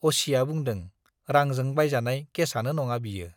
असिया बुंदों, रांजों बायजानाय केसआनो नङा बियो।